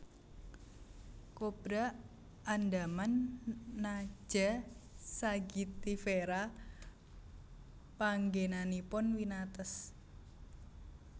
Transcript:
Kobra andaman Naja sagittifera Panggénanipun winates